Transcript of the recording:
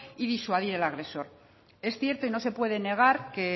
y disuadir al agresor es cierto y no se puede negar que